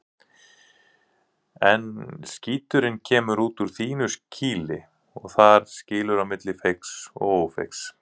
En skíturinn kemur út úr þínu kýli og þar skilur á milli feigs og ófeigs.